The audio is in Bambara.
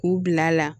K'u bila a la